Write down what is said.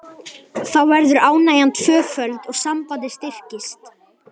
Þá verður ánægjan tvöföld og sambandið styrkist.